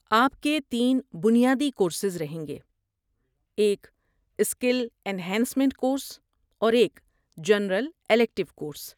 آپ کے تین بنیادی کورسز رہیں گے، ایک اسکل این ہانسمینٹ کورس، اور ایک جنرل الیکٹیو کورس۔